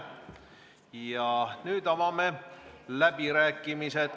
Ja nüüd avame läbirääkimised.